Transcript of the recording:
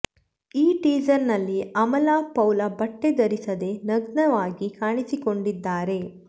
ಈ ಟೀಸರ್ ನಲ್ಲಿ ಅಮಲಾ ಪೌಲ್ ಬಟ್ಟೆ ಧರಿಸದೇ ನಗ್ನವಾಗಿ ಕಾಣಿಸಿಕೊಂಡಿದ್ದಾರೆ